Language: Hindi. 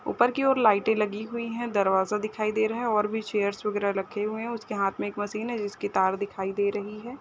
ऊपर की ओर लाइटे लगी हुई है दरवाज़ा दिखाई दे रहा है और भी चेयर वगेरा रखे हुई है उसके हाथ में एक मशीन है जिसकी तार दिखाई दे रही है।